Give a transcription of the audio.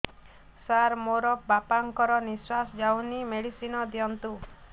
ସାର ମୋର ବାପା ଙ୍କର ନିଃଶ୍ବାସ ଯାଉନି ମେଡିସିନ ଦିଅନ୍ତୁ